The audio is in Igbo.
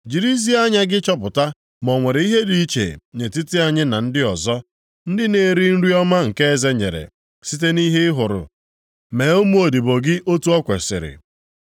Jirizie anya gị chọpụta ma o nwere ihe dị iche nʼetiti anyị na ndị ọzọ, ndị na-eri nri ọma nke eze nyere, site nʼihe ị hụrụ, mee ụmụodibo gị otu o kwesiri.”